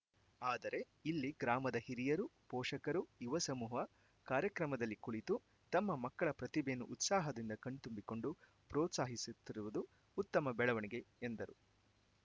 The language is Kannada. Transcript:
ಆದರೆ ಇಲ್ಲಿ ಗ್ರಾಮದ ಹಿರಿಯರು ಪೋಷಕರು ಯುವಸಮೂಹ ಕಾರ್ಯಕ್ರಮದಲ್ಲಿ ಕುಳಿತು ತಮ್ಮ ಮಕ್ಕಳ ಪ್ರತಿಭೆಯನ್ನು ಉತ್ಸಾಹದಿಂದ ಕಣ್ತುಂಬಿಕೊಂಡು ಪೋ ತ್ಸಾಹಿಸುತ್ತಿರುವುದು ಉತ್ತಮ ಬೆಳವಣಿಗೆ ಎಂದರು